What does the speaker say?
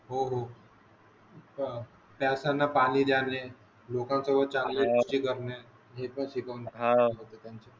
हो हो प्यासाना पानी द्यावे लोकाना सोबत चंगले करणे हे पण शिकवले होते अं